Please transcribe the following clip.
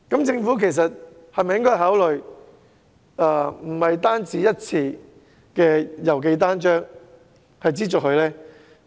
政府是否應該考慮不只資助一次郵寄單張呢？